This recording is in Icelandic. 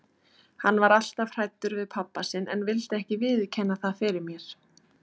Hann var alltaf hræddur við pabba sinn en vildi ekki viðurkenna það fyrir mér.